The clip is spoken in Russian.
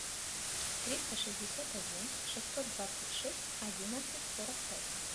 триста шестьдесят один шестьсот двадцать шесть одиннадцать сорок пять